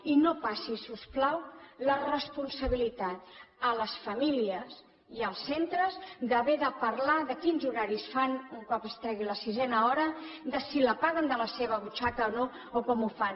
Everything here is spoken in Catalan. i no passi si us plau la responsabilitat a les famílies i als centres d’haver de parlar de quins horaris fan un cop es tregui la sisena hora de si la paguen de la seva butxaca o no o com ho fan